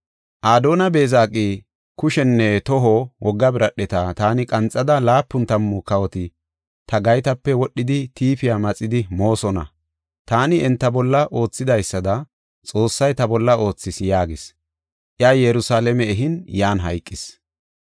Adooni-Beezeqi, “Kushenne toho wogga biradheta taani qanxida laapun tammu kawoti ta gaytape wodhida tiifiya maxidi moosona. Taani enta bolla oothidaysada Xoossay ta bolla oothis” yaagis. Iya Yerusalaame ehin yan hayqis.